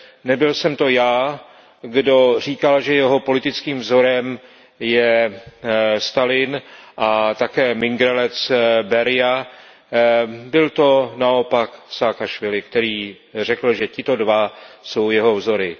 Nebyl jsem to já, kdo říkal, že jeho politickým vzorem je Stalin a mengelec Berija, byl to naopak Saakašvili, který řekl, že tito dva jsou jeho vzory.